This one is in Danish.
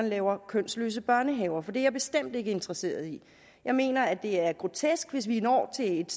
laver kønsløse børnehaver for det er jeg bestemt ikke interesseret i jeg mener det er grotesk hvis vi når til et